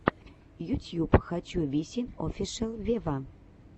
ютьюб хочу висин офишел вево